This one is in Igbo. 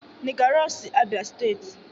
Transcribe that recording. nigger raw si Abia steeti.